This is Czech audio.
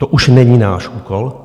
To už není náš úkol.